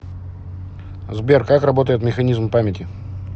сбер как работает механизм памяти